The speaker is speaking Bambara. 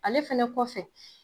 Ale fɛnɛ kɔfɛ